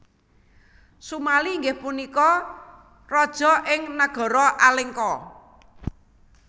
Sumali inggih punika raja ing Nagara Alengka